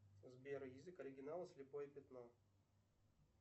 сбер язык оригинала слепое пятно